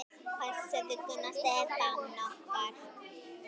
Passaðu Gunnar Stefán okkar.